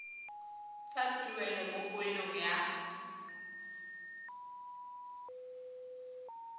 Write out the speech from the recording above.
sa tuelo mo poelong ya